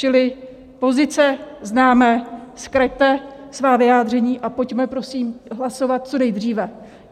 Čili pozice známe, zkraťte svá vyjádření a pojďme prosím hlasovat co nejdříve.